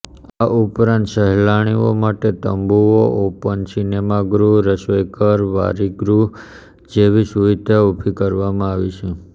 આ ઉપરાંત સહેલાણીઓ માટે તંબુઓ ઓપન સિનેમાગૃહ રસોઇઘર વારિગૃહ જેવી સુવિધા ઊભી કરવામાં આવી છે